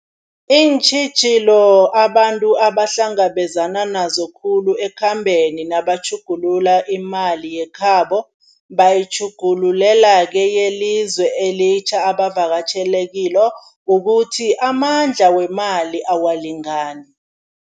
Iintjhijilo abantu abahlangabezana nazo khulu ekhambeni nabatjhugulula imali yekhabo bayitjhugululela keyelizwe elitjha abavakatjhela kilo, kukuthi amandla wemali awalingani.